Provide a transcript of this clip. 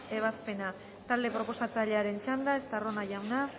ebazpena talde proposatzailearen txanda estarrona jauna